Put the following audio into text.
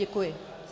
Děkuji.